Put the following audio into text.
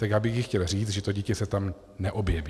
Tak já bych jí chtěl říct, že to dítě se tam neobjeví.